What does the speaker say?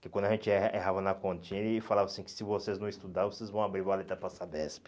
Que quando a gente er errava na continha, ele falava assim, que se vocês não estudarem, vocês vão abrir valeta para Sabesp.